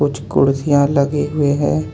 कुछ कुर्सियां लगे हुए हैं.